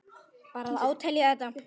Ber að átelja þetta.